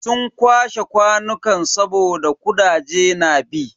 Sun kwashe kwanukan saboda kudaje na bi.